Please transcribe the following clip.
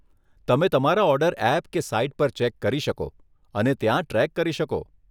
તમે તમારા order app કે સાઇટ પર ચેક કરી શકો અને ત્યાં ટ્રેક કરી શકો.